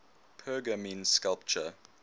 pergamene sculpture